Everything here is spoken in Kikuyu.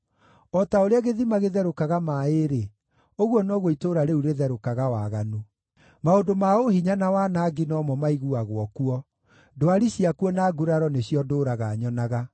O ta ũrĩa gĩthima gĩtherũkaga maaĩ-rĩ, ũguo noguo itũũra rĩu rĩtherũkaga waganu. Maũndũ ma ũhinya na wanangi no mo maiguagwo kuo; ndwari ciakuo na nguraro nĩcio ndũũraga nyonaga.